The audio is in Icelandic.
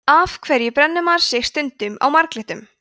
af hverju brennir maður sig stundum á marglyttum